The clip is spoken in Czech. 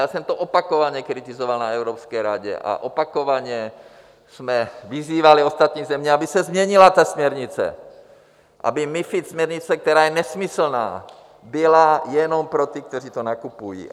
Já jsem to opakovaně kritizoval na Evropské radě a opakovaně jsme vyzývali ostatní země, aby se změnila ta směrnice, aby MiFID směrnice, která je nesmyslná, byla jenom pro ty, kteří to nakupují.